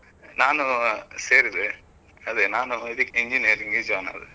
ನಾನು ಸೇರಿದೆ. ಅದೇ ನಾನು ಇದಕ್ಕೆ engineer ಗೆ joinಆದೆ.